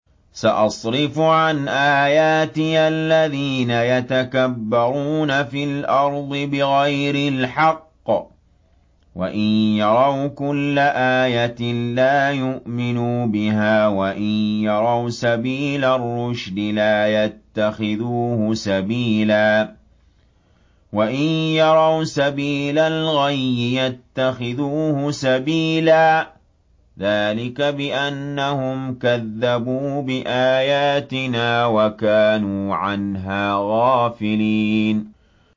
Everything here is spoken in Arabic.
سَأَصْرِفُ عَنْ آيَاتِيَ الَّذِينَ يَتَكَبَّرُونَ فِي الْأَرْضِ بِغَيْرِ الْحَقِّ وَإِن يَرَوْا كُلَّ آيَةٍ لَّا يُؤْمِنُوا بِهَا وَإِن يَرَوْا سَبِيلَ الرُّشْدِ لَا يَتَّخِذُوهُ سَبِيلًا وَإِن يَرَوْا سَبِيلَ الْغَيِّ يَتَّخِذُوهُ سَبِيلًا ۚ ذَٰلِكَ بِأَنَّهُمْ كَذَّبُوا بِآيَاتِنَا وَكَانُوا عَنْهَا غَافِلِينَ